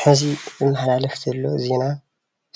ሕዚ ዝመሓላለፍ ዘሎ ዜና